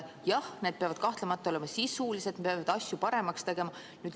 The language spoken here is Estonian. Jah, need peavad kahtlemata olema sisulised, peavad asju paremaks tegema.